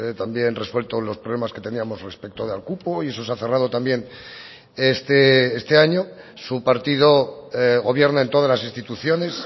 también resuelto los problemas que teníamos respecto del cupo y eso se ha cerrado también este año su partido gobierna en todas las instituciones